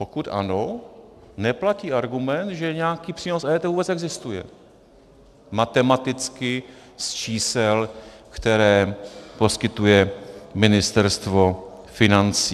Pokud ano, neplatí argument, že nějaký přínos EET vůbec existuje. Matematicky, z čísel, která poskytuje Ministerstvo financí.